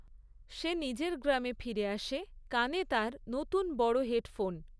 সে নিজের গ্রামে ফিরে আসে, কানে তার নতুন বড় হেডফোন।